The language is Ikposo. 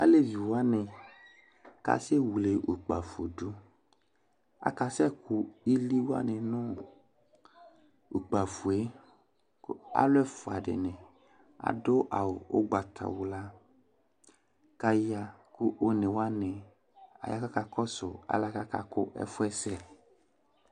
aleʋi wuani kasewle ukpaƒodu akasɛku ili wani nu ukpaƒoe ku aluɛƒuadini aɖu awu ugbataxla kaya ku uniwani ayakakakɔsu alɛkakakuɛfuɛ sɛ